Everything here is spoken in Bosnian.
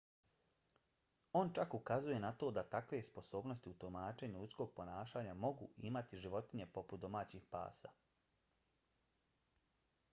on čak ukazuje na to da takve sposobnosti u tumačenju ljudskog ponašanja mogu imati životinje poput domaćih pasa